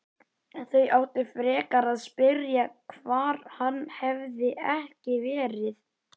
Þau áttu frekar að spyrja hvar hann hefði ekki verið.